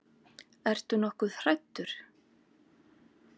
Ertu nokkuð hræddur?